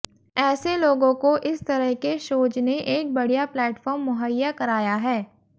ऐसे लोगों को इस तरह के शोज ने एक बढि़या प्लैटफॉर्म मुहैया कराया है